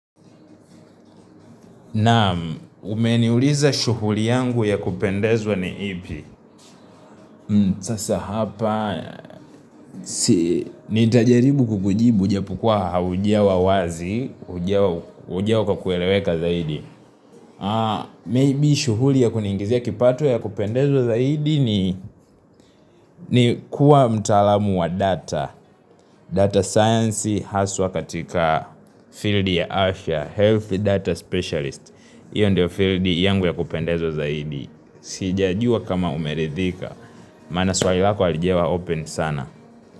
Naamu, umeniuliza shuguli yangu ya kupendezwa ni ipi Sasa hapa Nitajaribu kukujibu ijapokua haujawa wazi njia wa kueleweka zaidi Maybe shuguli ya kuniingizia kipato ya kupendezwa zaidi ni ni kuwa mtaalamu wa data data science haswa katika field ya Asha Health data specialist Iyo ndio field yangu ya kupendezwa zaidi Sijajua kama umeridhika Maana swali lako halijawa open sana.